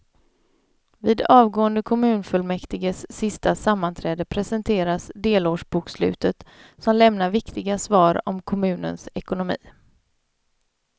Vid avgående kommunfullmäktiges sista sammanträde presenteras delårsbokslutet som lämnar viktiga svar om kommunens ekonomi.